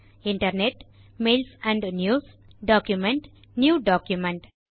internetமெயில்ஸ் and news document new document